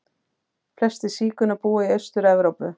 Flestir sígaunar búa í Austur-Evrópu.